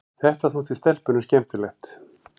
Þetta þótti stelpunum skemmtilegt.